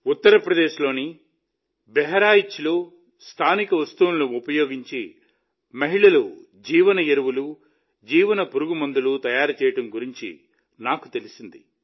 ఉత్తరప్రదేశ్ లోని బహ్రాయిచ్లో స్థానిక వస్తువులను ఉపయోగించి మహిళలు జీవఎరువులు జీవపురుగుమందులను తయారు చేయడం గురించి నాకు తెలిసింది